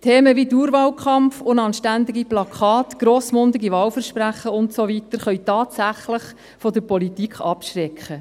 – Themen wie Dauerwahlkampf, unanständige Plakate, vollmundige Wahlversprechen und so weiter können tatsächlich von der Politik abschrecken.